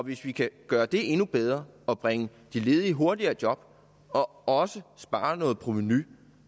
hvis vi kan gøre det endnu bedre og bringe de ledige hurtigere i job og også spare noget provenu